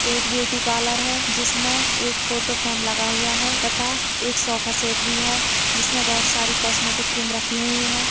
एक beauty parlour है जिस में एक फोटोफ्रेम लगा हुआ है तथा एक सोफा सेट भी है जिसमे बहुत सारी कोस्मेटिक क्रीम रखी हुई है।